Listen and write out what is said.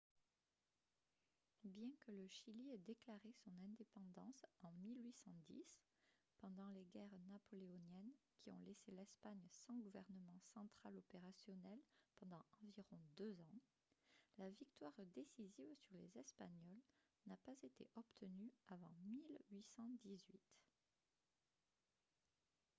bien que le chili ait déclaré son indépendance en 1810 pendant les guerres napoléoniennes qui ont laissé l'espagne sans gouvernement central opérationnel pendant environ deux ans la victoire décisive sur les espagnols n'a pas été obtenue avant 1818